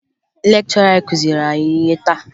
Lekchọra anyị kụziri anyị ihe taa